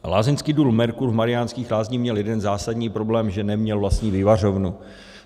Lázeňský dům Mercur v Mariánských Lázních měl jeden zásadní problém, že neměl vlastní vyvařovnu.